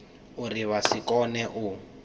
uri vha si kone u